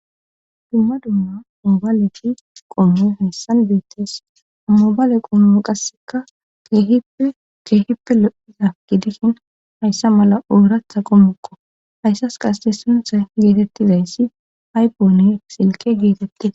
dumma dumma umbaleti qonoy hassan beettes ummobale qommu qasseka keehippe ceehippe lo7iza gidishin hayssa mala uuratha qommukqo hayssas qasete suntha geetettizayssi haypone silke geetettida